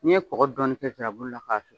N'i ye kɔgɔ dɔɔnin kɛ nsirabulu la k'a susu